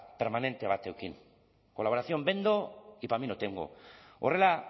permanente bat eduki colaboración vendo y para mí no tengo horrela